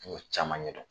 N y'o caman ɲɛ dɔn